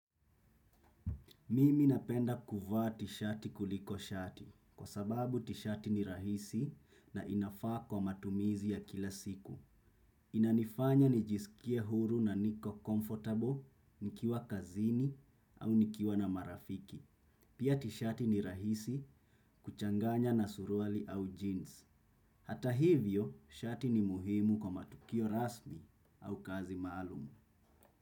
Mimi napenda kuvaa tishati kuliko shati kwa sababu tishati ni rahisi na inafaa kwa matumizi ya kila siku. Inanifanya nijisikie huru na niko comfortable nikiwa kazini au nikiwa na marafiki. Pia tishati ni rahisi kuchanganya na suruali au jeans. Hata hivyo, shati ni muhimu kwa matukio rasmi au kazi maalumu.